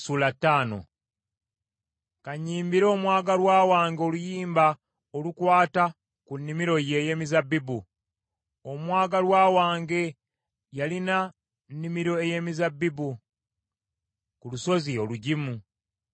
Ka nnyimbire omwagalwa wange oluyimba olukwata ku nnimiro ye ey’emizabbibu. Omwagalwa wange yalina nnimiro ey’emizabbibu ku lusozi olugimu.